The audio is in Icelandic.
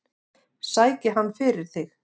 Sæki hann fyrir þig.